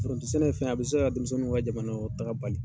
Forontosɛnɛ ye fɛn ye a bɛ se ka denmisɛnninw ka jamanakɔnɔtaga bali.